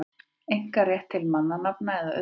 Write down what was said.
einkarétt til mannanafna eða auðkenna.